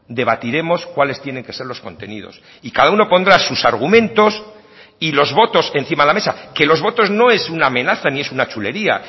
debatiremos cuáles tienen que ser los contenidos y cada uno pondrá sus argumentos y los votos encima de la mesa que los votos no es una amenaza ni es una chulería